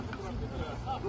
Hara gedir?